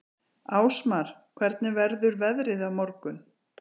Ásmar, hvernig verður veðrið á morgun?